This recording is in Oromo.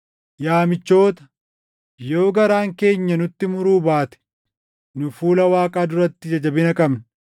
Yaa michoota, yoo garaan keenya nutti muruu baate nu fuula Waaqaa duratti ija jabina qabna.